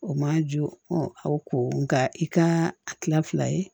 O man jɔ aw ko nka i ka a tila fila ye